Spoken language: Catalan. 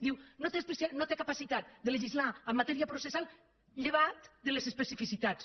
diu no té capacitat de legislar en matèria processal llevat de les especificitats